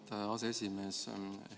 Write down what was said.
Auväärt aseesimees!